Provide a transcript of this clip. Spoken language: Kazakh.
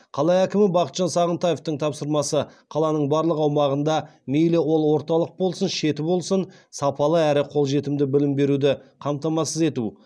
қала әкімі бақытжан сағынтаевтың тапсырмасы қаланың барлық аумағында мейлі ол орталық болсын шеті болсын сапалы әрі қолжетімді білім беруді қамтамасыз ету